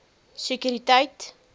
sekuriteit